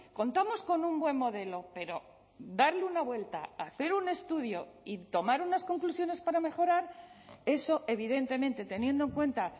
contamos con un buen modelo pero darle una vuelta hacer un estudio y tomar unas conclusiones para mejorar eso evidentemente teniendo en cuenta